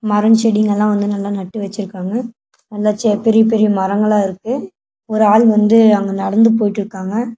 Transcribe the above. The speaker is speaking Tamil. மரம் செடிங்கலாம் வந்து நல்லா நட்டு வச்சுருக்காங்க நல்லா செ பெரிய பெரிய மரங்கலா இருக்கு ஒரு ஆள் வந்து அங்க நடந்து போய்ட்டு இருக்காங்க.